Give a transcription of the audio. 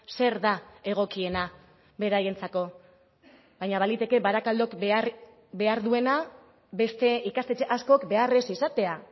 zer da egokiena beraientzako baina baliteke barakaldok behar duena beste ikastetxe askok behar ez izatea